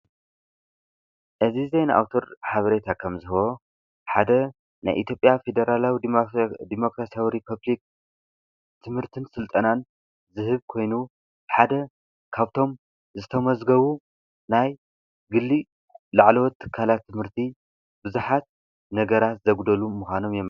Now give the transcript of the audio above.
እዚ ዜና አዉታር ሓበሬታ ከም ዝህቦ ሓደ ናይ ኢትዮጵያዊ ፌደራላዊ ዲሞክራሲያዊ ሪፐብሊክ ትምህርትን ስልጠናን ዝህብ ኮይኑ፤ ሓደ ካብቶም ዝተመዝገቡ ናይ ግሊ ላዕለዎት ትካላት ትምህርቲ ቡዙሓት ነገራት ዘጉደሉ ምዃኖም እዮም፡፡